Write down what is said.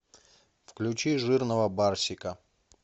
включи жирного барсика